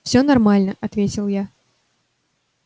все нормально ответил я